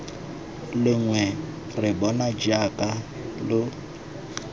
lengwe re bona jaaka lo